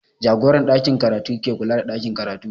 Jagoran ɗakin karatu ke kula da ɗakin karatu